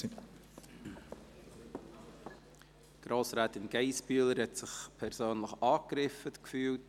Grossrätin Geissbühler hat sich persönlich angegriffen gefühlt.